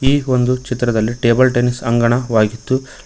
ಈ ಒಂದು ಚಿತ್ರದಲ್ಲಿ ಟೇಬಲ್ ಟೆನಿಸ್ ಅಂಗಣವಾಗಿದ್ದು--